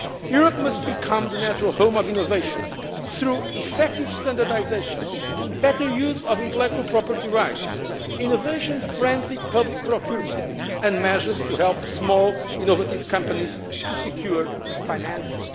Europe must become the natural home of innovation, through effective standardisation, better use of intellectual property rights, innovation friendly public procurement and measures to help small innovative companies to secure financing.